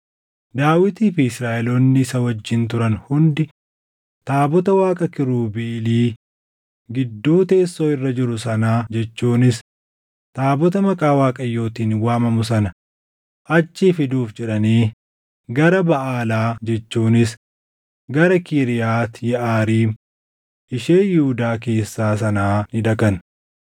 Daawitii fi Israaʼeloonni isa wajjin turan hundi taabota Waaqa kiirubeelii gidduu teessoo irra jiru sanaa jechuunis taabota Maqaa Waaqayyootiin waamamu sana achii fiduuf jedhanii gara Baʼaalaa jechuunis gara Kiriyaati Yeʼaariim ishee Yihuudaa keessaa sanaa ni dhaqan.